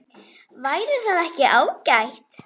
Væri það ekki ágætt?